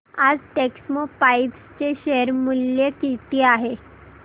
आज टेक्स्मोपाइप्स चे शेअर मूल्य किती आहे